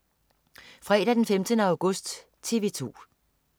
Fredag den 15. august - TV 2: